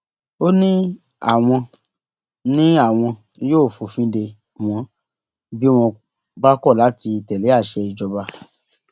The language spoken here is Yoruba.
ó ní àwọn ní àwọn yóò fòfin dè wọn bí wọn bá kọ láti tẹlé àṣẹ ìjọba